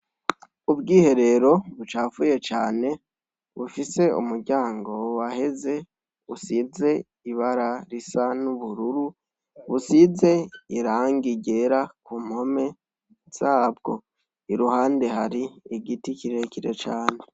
Ubwiherero bucafuye cane bufise umuryango waheze usize ibara risa n'ubururu, busize irangi ryera ku mpome zabwo, iruhande hari igiti kirekire cane.